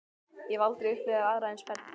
Ég hef aldrei upplifað aðra eins ferð.